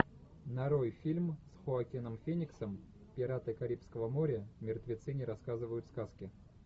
нарой фильм с хоакином фениксом пираты карибского моря мертвецы не рассказывают сказки